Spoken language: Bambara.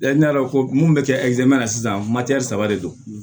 Ne y'a dɔn ko mun bɛ kɛ na sisan saba de don